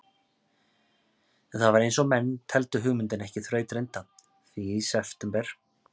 En það var einsog menn teldu hugmyndina ekki þrautreynda, því í september